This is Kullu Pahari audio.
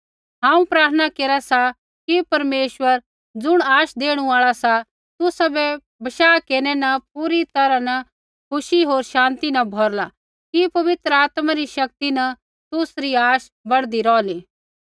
हांऊँ प्रार्थना केरा सा कि परमेश्वर ज़ुण आश देणु आल़ा सा तुसाबै बशाह केरनै न पूरी तैरहा न खुशी होर शान्ति न भौरला कि पवित्र आत्मा री शक्ति न तुसरी आश बढ़दी रौहली